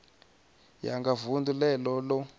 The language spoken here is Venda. ya nga vunḓu ḽene ḽo